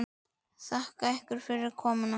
Þakka ykkur fyrir komuna.